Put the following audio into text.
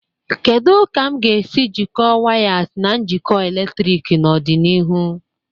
Kedu ka m ga-esi jikọọ wires na njikọ eletrik n'ọdịnihu?